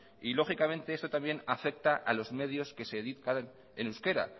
y lógicamente esto también afecta a los medios que se editan en euskera